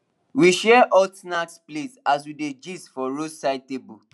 we share hot snack plate as we dey gist for roadside table